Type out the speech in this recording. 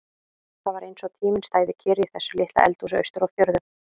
Það var eins og tíminn stæði kyrr í þessu litla eldhúsi austur á fjörðum.